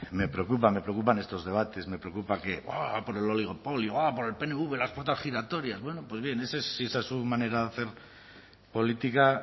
me preocupa me preocupan estos debates me preocupa que oh por el oligopolio oh por el pnv las puertas giratorias bueno pues bien si esa es su manera de hacer política